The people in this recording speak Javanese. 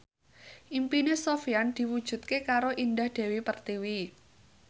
impine Sofyan diwujudke karo Indah Dewi Pertiwi